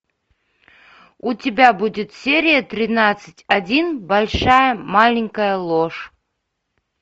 у тебя будет серия тринадцать один большая маленькая ложь